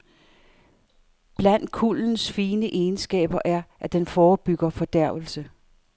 Blandt kuldens fine egenskaber er at den forebygger fordærvelse.